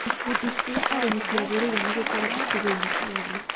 Ikundi cia arĩmi ciagĩrĩirwo nĩ gũkorwo icigo-inĩ ciothe